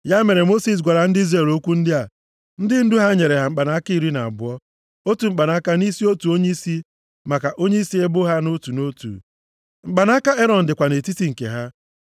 Ya mere, Mosis gwara ndị Izrel okwu ndị a. Ndị ndu ha nyere ya mkpanaka iri na abụọ, otu mkpanaka nʼisi otu onyeisi maka onyeisi ebo ha nʼotu nʼotu. Mkpanaka Erọn dịkwa nʼetiti nke ha.